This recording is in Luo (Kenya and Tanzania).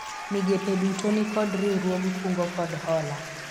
migepe duto nikod riwruog kungo kod hola